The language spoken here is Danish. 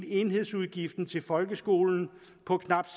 enhedsudgiften til folkeskolen på knap